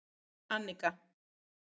Annika